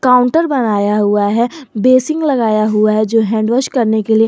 counter बनाया हुआ है बेसिन लगाया हुआ है जो हैंड वॉश करने के लिए--